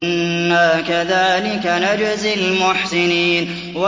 إِنَّا كَذَٰلِكَ نَجْزِي الْمُحْسِنِينَ